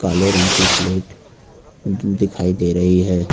काले रंग की प्लेट द दिखाई दे रही है।